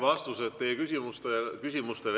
Vastused teie küsimustele.